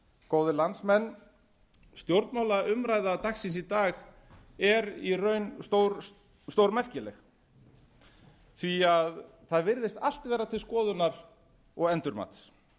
góðir landsmenn stjórnmálaumræða dagsins í dag er í raun stórmerkileg því það virðist allt vera til skoðunar og endurmats